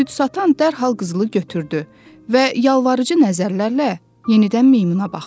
Süd satan dərhal qızılı götürdü və yalvarıcı nəzərlərlə yenidən meymuna baxdı.